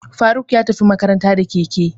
Faruk ya tafi makaranta da keke.